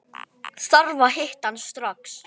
Þarf að hitta hann strax.